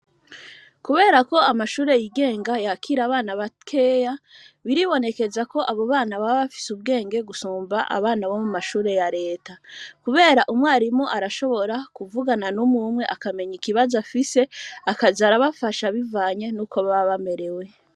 Kubera ko, amashure yigenga, yakira abana bakeya, biribonekeza ko, abo bana, baba bafise ubwenge, gusumba abana, bo mu mashure ya leta; kubera, umwarimu, arashobora, kuvugana n'umwe umwe, akamenya ikibazo afise; akaza arabafasha, bivanye n'uko baba bamerewe.